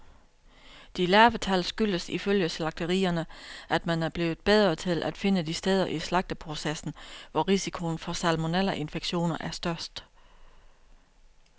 De lave tal skyldes ifølge slagterierne, at man er blevet bedre til at finde de steder i slagteprocessen, hvor risikoen for salmonellainfektioner er størst.